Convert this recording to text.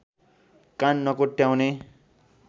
कान नकोट्याउने